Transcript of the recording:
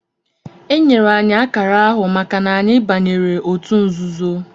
Enyere anyị akara ahụ maka na anyị banyere otu nzuzo